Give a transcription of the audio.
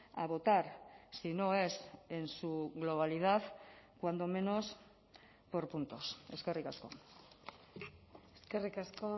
a votar si no es en su globalidad cuando menos por puntos eskerrik asko eskerrik asko